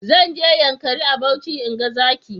Zan je yankari a Bauchi in ga zaki.